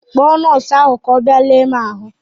Kpọọ nọọsụ ahụ ka ọ bịa lee m ahụ!